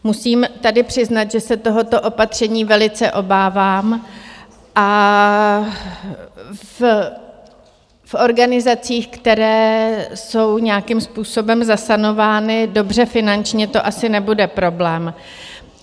Musím tady přiznat, že se tohoto opatření velice obávám, a v organizacích, které jsou nějakým způsobem zasanovány dobře finančně, to asi nebude problém.